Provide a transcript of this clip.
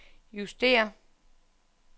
justér